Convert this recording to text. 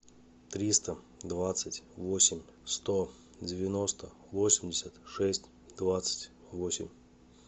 триста двадцать восемь сто девяносто восемьдесят шесть двадцать восемь